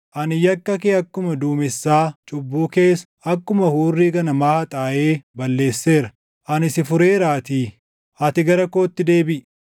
Ani yakka kee akkuma duumessaa, cubbuu kees akkuma hurrii ganamaa haxaaʼee balleesseera. Ani si fureeraatii, ati gara kootti deebiʼi.”